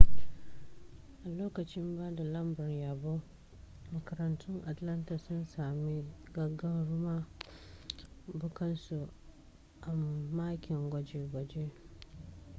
a lokacin ba da lambar yabon makarantun atlanta sun sami gagarumar bunƙasa a makin gwaje-gwaje